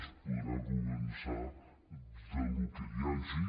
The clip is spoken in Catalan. es podrà començar del que hi hagi